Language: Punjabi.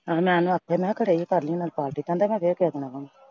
ਆਹੋ ਮੈਂ ਉਹਨੂੰ ਆਖਿਆ ਸੀ ਮੈਂ ਕਿਹਾ ਘਰ ਈ ਆ ਕਰ ਲਈਂ ਪਾਰਟੀ। ਕਹਿੰਦਾ ਮੈਂ ਫੇਰ ਕਿਸੇ ਆਵਾਂਗਾ।